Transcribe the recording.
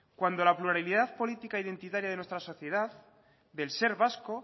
cuando la pluralidad política identitaria de nuestra sociedad del ser vasco